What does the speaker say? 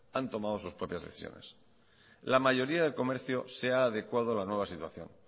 han tomado sus propias decisiones la mayoría de comercios se ha adecuado a la nueva situación